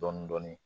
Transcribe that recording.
Dɔɔnin dɔɔnin